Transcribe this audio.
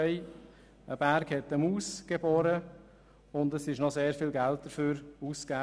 «Ein Berg hat eine Maus geboren, und es wurde auch sehr viel Geld dafür ausgegeben.